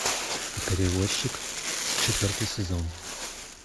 перевозчик четвертый сезон